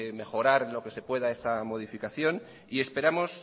mejorar en lo que se pueda esta modificación esperamos